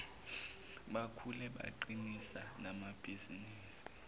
bakhule baqinise namabhizinisi